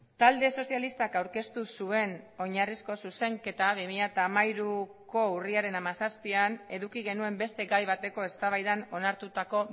talde sozialistak aurkeztu zuen oinarrizko zuzenketa bi mila hamairuko urriaren hamazazpian eduki genuen beste gai bateko eztabaidan onartutako